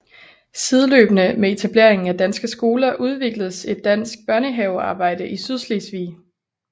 Sideløbende med etableringen af danske skoler udvikledes et dansk børnehavearbejde i Sydslesvig